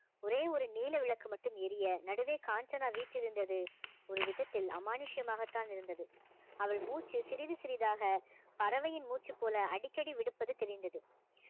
ஒரே ஒரு நீல விளக்கு மட்டும் எரிய நடுவே காஞ்சனா வீற்றிருந்தது ஒரு விதத்தில் அமானுஷ்யமாகத்தான் இருந்தது அவள் மூச்சு சிறிது சிறிதாக பறவையின் மூச்சு போல அடிக்கடி விடுப்பது தெரிந்தது